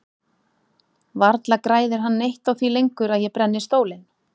Varla græðir hann neitt á því lengur að ég brenni stólinn.